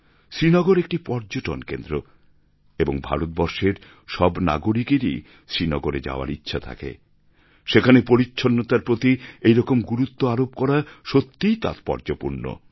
শ্রীনগর একটি পর্যটন কেন্দ্র এবং ভারতবর্ষের সব নাগরিকেরই শ্রীনগরে যাওয়ার ইচ্ছা থাকে সেখানে পরিচ্ছন্নতার প্রতি এই রকম গুরুত্ব আরোপ করা সত্যিই তাৎপর্যপূর্ণ